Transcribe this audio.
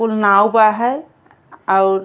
उ नाव बा है। अ अउर --